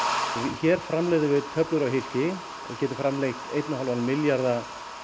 hér framleiðum við töflur og hylki við getum framleitt einn og hálfan milljarða